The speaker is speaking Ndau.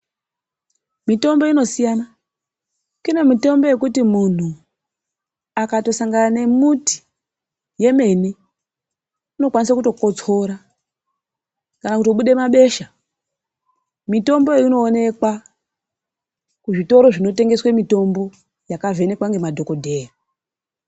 Mitombo inosiyana, kune mitombo yekuti muntu akatosangana nemuti yemene unokwanisa kutokotsora kana kutobude mabesha. Mitomboyo inoonekwa kuzvitoro zvinonetengeswa mitombo yakavhenekwa ngemadhogodheya.